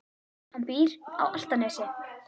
Hann býr á Álftanesi.